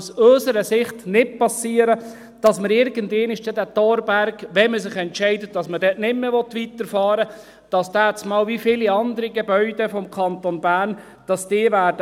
Aus unserer Sicht darf es nicht passieren, dass der Thorberg irgendwann – wenn man sich entscheidet, dass man dort nicht mehr weiterfahren will – wie viele andere Gebäude des Kantons Bern leer stehen wird.